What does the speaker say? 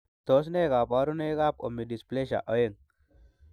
Tos nee koborunoikab Omodysplasia oeng'?